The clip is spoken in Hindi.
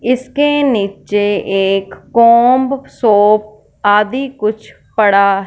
इसके नीचे कुछ कॉम्ब शोप आदि कुछ पड़ा--